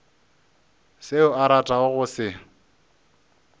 seo a ratago go se